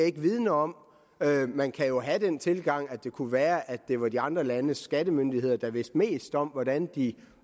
ikke vidende om man kan jo have den tilgang at det kunne være at det var de andre landes skattemyndigheder der vidste mest om hvordan de